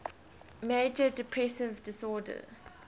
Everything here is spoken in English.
major depressive disorder